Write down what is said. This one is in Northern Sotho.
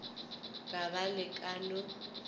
ka ba le ka no